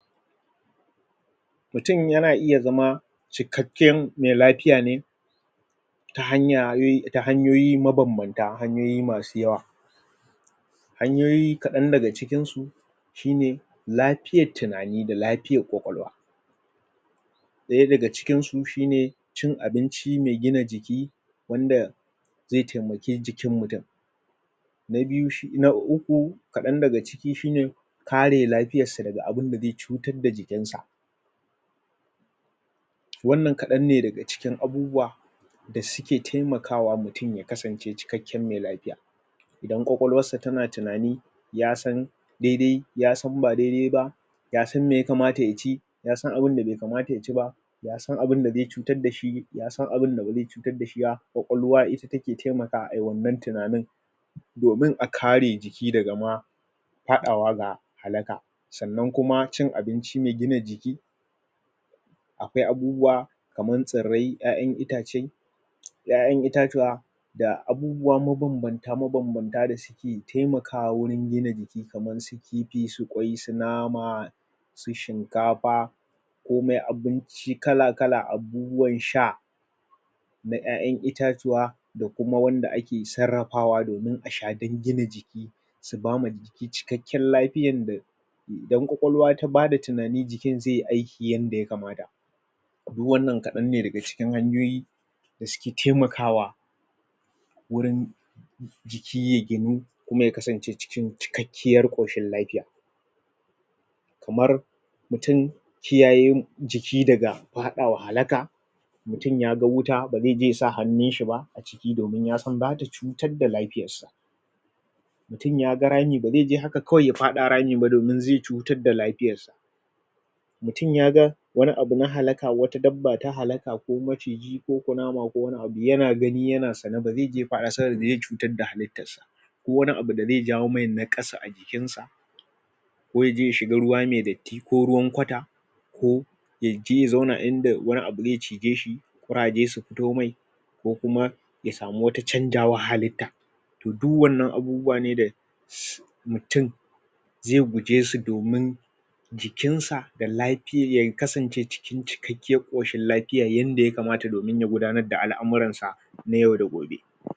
mutum yana iya zama cikakken mai lafiya ne ta hanyayi ta hanyoyi mabanbanta hanyoyi masu yawa hanyoyi kadan daga cikin su shine lafiyan tunani da lafiyar kwakwalwa ɗaya daga cikin su shine cin abinci mai gina jiki wanda zai taimaki jikin mutum na biyu shi na uku kaɗan daga ciki shine kare lafiyar sa daga abinda zai cutar da jikin sa wannan kaɗan ne daga cikin abubuwa da suke taimakawa mutum ya kasance cikakken mai lafiya idan kwakwalwarsa tana tunani yasan daidai yasan ba daidai ba yasan me ya kamata ya ci yasan abinda bai kamata ya ci ba yasan abinda zai cutar dashi yasan abinda ba zai cutar dashi ba. kwakwalwa ita take taimakawa ayi wannan tunanin domin a kare jiki daga ma faɗawa daga halaka sannan kuma cin abinci mai gina jiki akwai abubuwa kamar tsirrai ƴa'ƴan itace ko ƴa'ƴan itatuwa da abubuwa mabambanta mabambanta dashi ke taimakawa wajen gina jiki kifi su kwai su nama su shinkafa komai abinci kala kala abubuwan sha na ƴa'ƴan itatuwa da kuma wanda ake sarrafawa domin asha don gina jiki su bama jiki cikakken lafiyar da idan kwakwalwa tabada tunani, jikin zaiyi aiki yanda ya kamata du wannan kadan ne daga cikin hanyoyi a suke taimakawa wurin jiki ya ginu kuma ya kasance cikin cikakken cikakkiyar koshin lafiya kamar mutum kiyayarmu jiki daga faɗawa halaka mutum ya bar wuta bazai je yasa hannyn shi ba hi domin yasan zata cutar da lafiyar sa mutum yaga rami, bazai je haka kawai ya faɗa ramin ba domin haka zai cutar da lafiyar shi mutum yaga wani anu na halaka wacce dabba ta halaka ko maciji ko kunama ko wani abu. yana gani yana sane bazaije ya fada saboda bazai cutar da halittar sa ba ko wani abu da zai jawo mai naƙasu a jikin sa ko yaje ya shiga ruwa mai datti ko ruwan kwata ko yaje ya zauna idan da wani abu da zai cizai shi ƙuraje su fito mai ko kuma ya samu wani canzawar halitta kuma du wannan abubuwanen da uhm mutum ai gujesu domin jikinsa da lafiyar ya kasance cikin cikakkiyar koshi lafiya yanda ya kamata domin ya gudanar da al'amuran sa na yau da gobe